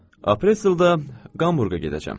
Apreldə Hamburqa gedəcəm.